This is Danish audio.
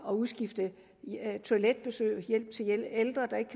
at udskifte toiletbesøg og hjælp til ældre der ikke